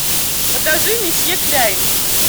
покажи месье кляйн